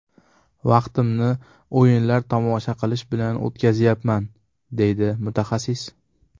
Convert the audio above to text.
Vaqtimni o‘yinlar tomosha qilish bilan o‘tkazyapman”, deydi mutaxassis.